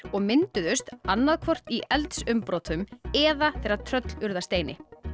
og mynduðust annaðhvort í eldsumbrotum eða þegar tröll urðu að steini